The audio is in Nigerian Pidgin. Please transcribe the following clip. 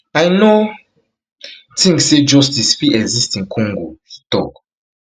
i no think say justice fit exist in congo she tok